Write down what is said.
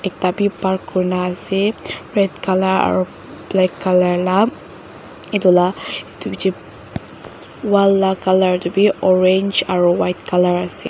ekta bi park kurina ase red colour la aro black colour la edu la edu bihae wall la colour te bi orange aro white colour ase.